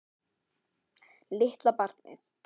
Litla barnið.